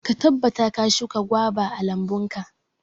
Ka tabbata ka shuka goba a lambunka.